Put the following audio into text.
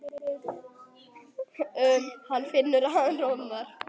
Hann finnur að hann roðnar.